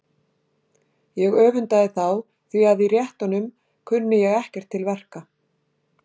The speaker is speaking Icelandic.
Ég öfundaði þá því að í réttunum kunni ég ekkert til verka.